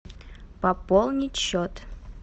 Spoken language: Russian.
пополнить счет